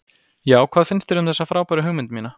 Já, hvað finnst þér um þessa frábæru hugmynd mína?